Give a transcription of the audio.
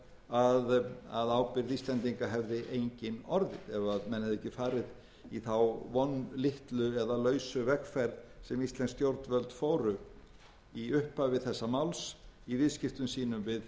að ábyrgð íslendinga hefði engin orðið ef menn hefðu ekki farið í þá vonlitlu eða lausu vegferð sem íslensk stjórnvöld fóru í upphafi þessa máls í viðskiptum sínum við evrópuríkin